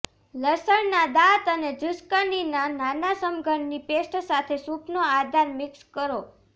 લસણના દાંત અને ઝુસ્કનીના નાના સમઘનની પેસ્ટ સાથે સૂપનો આધાર મિક્સ કરો